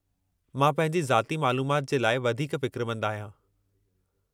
मां पंहिंजी ज़ाती मालूमाति जे लाइ वधीक फ़िक्रमंदु आहियां।